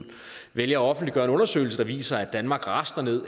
vælger at offentliggøre en undersøgelse der viser at danmark rasler ned